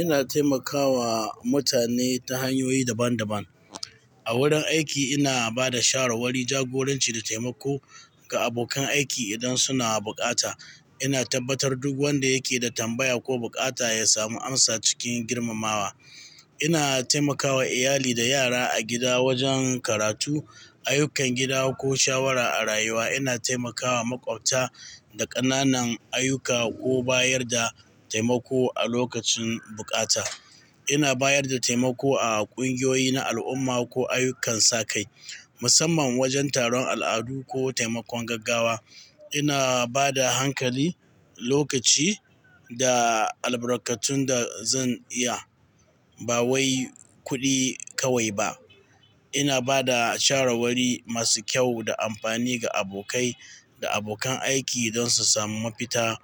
Ina taimakawa mutane ta hanyoyi daban-daban. A wurin aiki ina ba da shawarwari, jagoranci da taimako ga abokan aiki idan suna bukata. Ina tabbatar duk wanda yake da tambaya ko bukata ya samu amsa cikin girmamawa. Ina taimakawa iyali da yara a gida wajen karatu, ayyukan gida ko shawara a rayuwa. Ina taimakawa maƙwabta da ƙananan ayyuka ko bayar da taimako a lokacin bukata. Ina bayar da taimako a ƙungiyoyi na al'umma ko ayyukan sakai, musamman wajen taron al'adu ko taimakon gaggawa. Ina ba da hankali, lokaci da albarkatun da zan iya, ba wai kuɗi kawai ba. Ina ba da shawarwari masu kyau da amfani ga abokai da abokan aiki don su sami mafita